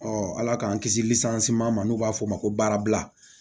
Ɔ ala k'an kisi ma n'u b'a fɔ o ma ko baarabila